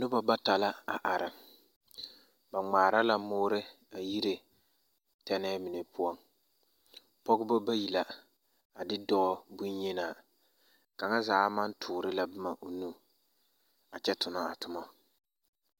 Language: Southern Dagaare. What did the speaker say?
Noba bata la are, ba ŋmaara la mõõre a yire tԑnԑԑ mine poͻŋ. Pͻgebͻ bayi la ade dͻͻ boŋyenaa. Kaŋa zaa maŋ toore la boma o nu a kyԑ tonͻ a toma.